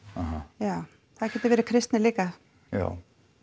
já það getur verið kristni líka já